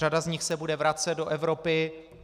Řada z nich se bude vracet do Evropy.